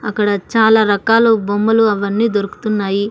అక్కడ చాలారకాలు బొమ్మలు అవి అన్ని దొరుకుతున్నాయి.